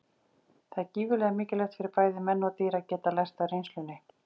Það er gífurlega mikilvægt fyrir bæði menn og dýr að geta lært af reynslunni.